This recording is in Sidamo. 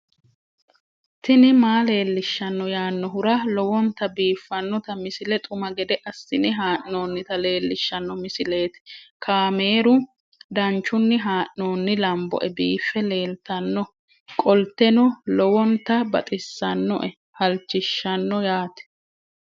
tini maa leelishshanno yaannohura lowonta biiffanota misile xuma gede assine haa'noonnita leellishshanno misileeti kaameru danchunni haa'noonni lamboe biiffe leeeltannoqolten lowonta baxissannoe halchishshanno yaate